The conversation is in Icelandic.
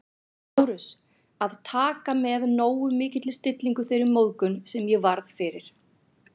Lárus, að taka með nógu mikilli stillingu þeirri móðgun, sem ég varð fyrir